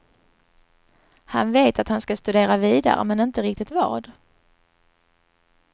Han vet att han ska studera vidare, men inte riktigt vad.